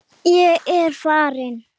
Ég er farin!